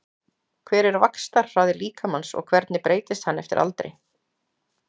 Hver er vaxtarhraði líkamans og hvernig breytist hann eftir aldri?